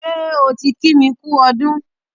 Ṣé o ti kí mi kú ọdún?